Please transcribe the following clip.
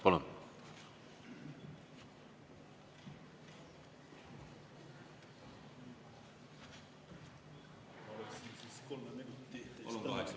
Palun!